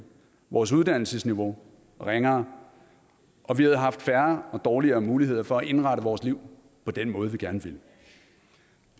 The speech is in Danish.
vores uddannelsesniveau ringere og vi havde haft færre og dårligere muligheder for at indrette vores liv på den måde vi gerne vil